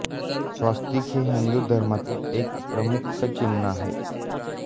स्वस्तिक हे हिंदू धर्मातील एक प्रमुख चिन्ह आहे